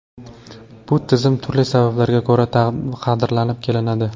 Bu tizim turli sabablarga ko‘ra qadrlanib kelinadi.